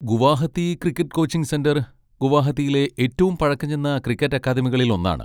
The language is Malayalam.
ഗുവാഹത്തി ക്രിക്കറ്റ് കോച്ചിങ് സെന്റർ ഗുവാഹത്തിയിലെ ഏറ്റവും പഴക്കംചെന്ന ക്രിക്കറ്റ് അക്കാദമികളിൽ ഒന്നാണ്.